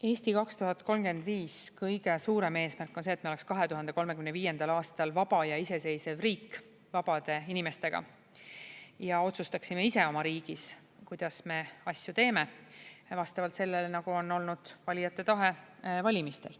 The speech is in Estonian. "Eesti 2035" kõige suurem eesmärk on see, et meil oleks 2035. aastal vaba ja iseseisev riik vabade inimestega ja me otsustaksime ise oma riigis, kuidas me asju teeme, ja vastavalt sellele, nagu on olnud valijate tahe valimistel.